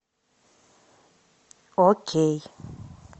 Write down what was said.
окей